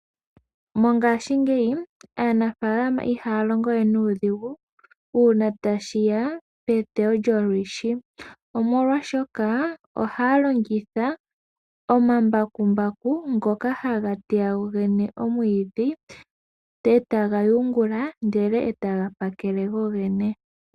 Mongaashingeyi aanafaalama ihaya longowe nuudhigu uuna tashiya peteyo lyo mwiidhi. Omolwaashoka ohaya longitha omambakumbaku ngoka haga teya gogene omwiidhi etaga yungula ndele etaga pakele gogene.